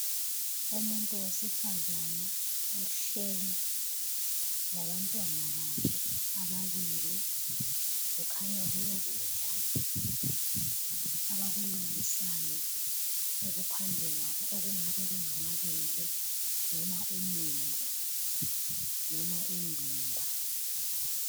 Umuntu wesifazane uhleli labantwana bakhe ababili. Kukhanya kulokudla abakulungisayo okuphambi kwabo okungabe kungamabele noma umumbu noma indumba.